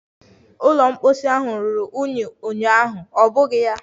Ụlọ mposi ahụ ruru unyi ụnyaahụ, ọ bụghị ya?